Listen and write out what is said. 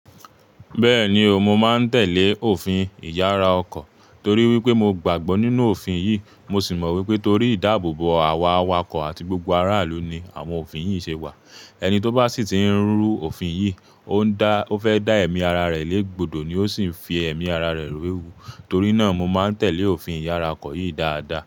Bẹ́ẹ̀ni o, mo máa ń tẹ̀lé òfin ìyára ọkọ̀ torí wípé mo gbàgbọ́ nínú òfin yìí, mo sì mọ̀ wípé torí ìdáàbòbò àwà àwàkọ̀ àti gbogbo aráàlú ni àwọn òfin yìí ṣe wà. Ẹni tó bá sì ti ń rú òfin yìí, ó ń dá, ó fẹ́ dá ẹ̀mí ara rẹ̀ lé gbòdò ni ó sì ń fi ẹ̀mí ara rẹ̀ we éwu. Torí náà mo máa ń tẹ̀lé òfin ìyára ọkọ̀ yìí dáadáa.